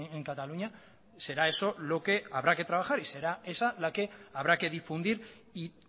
en cataluña será eso lo que habrá que trabajar y será esa la que habrá que difundir y